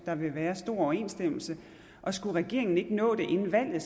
der vil være stor overensstemmelse og skulle regeringen ikke nå det inden valget